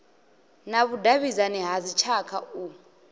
na vhudavhidzani ha dzitshaka u